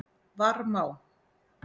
Varmá